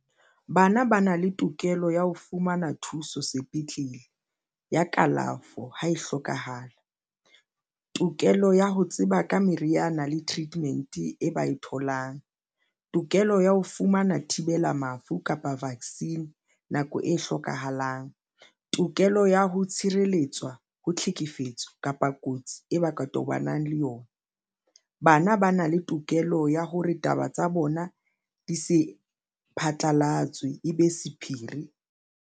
Bana ba na le tokelo ya ho fumana thuso sepetlele ya kalafo ha e hlokahala tokelo ya ho tseba ka meriana le treatment e bae tholang tokelo ya ho fumana thibela mafu kapa vaccine nako e hlokahalang. Tokelo ya ho tshireletswa ho tlhekefetso kapa kotsi e bakang tobanang le yona. Bana ba na le tokelo ya hore taba tsa bona di se phatlalatswe e be sephiri.